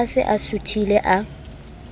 a se a suthile a